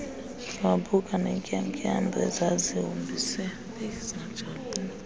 wabuka neentyatyambo ezazihombise